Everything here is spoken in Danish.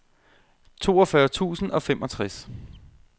toogfyrre tusind og femogtres